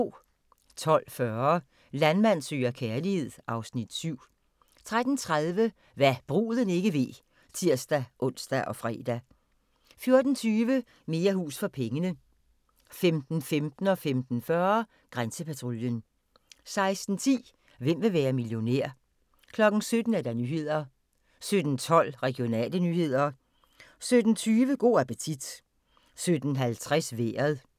12:40: Landmand søger kærlighed (Afs. 7) 13:30: Hva' bruden ikke ved (tir-ons og fre) 14:20: Mere hus for pengene 15:15: Grænsepatruljen 15:40: Grænsepatruljen 16:10: Hvem vil være millionær? 17:00: Nyhederne 17:12: Regionale nyheder 17:20: Go' appetit 17:50: Vejret